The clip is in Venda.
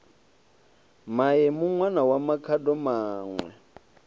maemu ṋwana wa makhado maṋwe